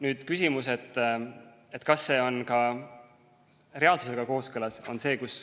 Nüüd on küsimus, kas see on ka reaalsusega kooskõlas.